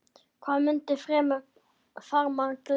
Hvað mundi fremur farmann gleðja?